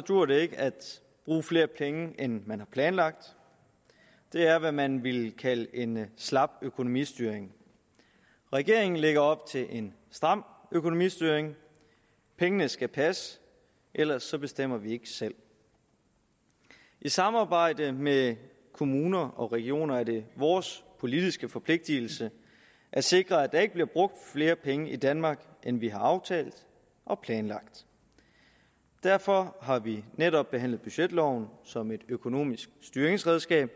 dur det ikke at bruge flere penge end man har planlagt det er hvad man ville kalde en slap økonomistyring regeringen lægger op til en stram økonomistyring pengene skal passe ellers bestemmer vi ikke selv i samarbejde med kommuner og regioner er det vores politiske forpligtelse at sikre at der ikke bliver brugt flere penge i danmark end vi har aftalt og planlagt derfor har vi netop behandlet budgetloven som et økonomisk styringsredskab